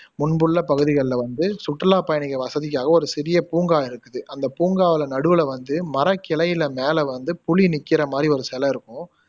முன்புள்ள பகுதிகள்ல வந்து சுற்றுலா பயணிகள் வசதிக்காக ஒரு சிறிய பூங்கா இருக்குது அந்த பூங்காவுல நடுவுல வந்து மரக்கிளையில மேல வந்து புலி நிக்கிற மாதிரி ஒரு சிலை இருக்கும்